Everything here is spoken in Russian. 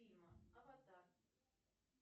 фильма аватар